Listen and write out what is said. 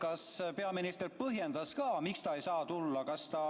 Kas peaminister põhjendas, miks ta ei saa tulla?